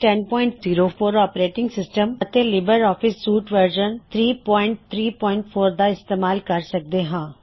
ਅਸੀਂ Ubuntu Linux 1004 operating system ਅਤੇ LibreOffice suite version 334 ਦਾ ਇਸਤੇਮਾਲ ਕਰ ਰਹੇ ਹਾਂ